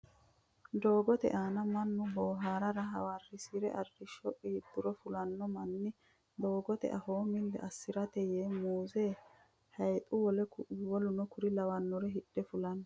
Doogote aana mannu booharara hawarrise arrisho qiidduro fulanno manni doogote afoo milli assirate yee muuze, hayiixu wole w.k.l hidhe fulanno.